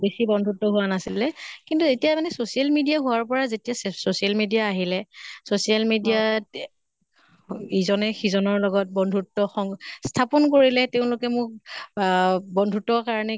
বেছি বন্ধুত্ব হোৱা নাছিলে। কিন্তু এতিয়া মানে social media হোৱাৰ পৰা যেতিয়া চে social media আহিলে social media ত ইজনে সিজনৰ লগত বন্ধুত্ব সং স্থাপন কৰিলে। তেওঁলোকে মোক আহ বন্ধুত্বৰ কাৰণে